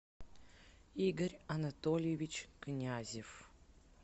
игорь анатольевич князев